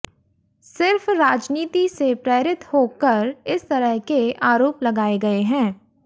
सिर्फ राजनीति से प्रेरित होकर इस तरह के आरोप लगाये गए हैं